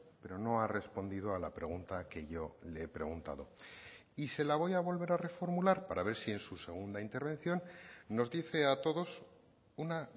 pero no ha respondido a la pregunta que yo le he preguntado y se la voy a volver a reformular para ver si en su segunda intervención nos dice a todos una